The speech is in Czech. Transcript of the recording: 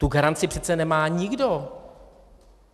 Tu garanci přece nemá nikdo.